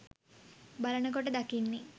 බලන කොට දකින්නේ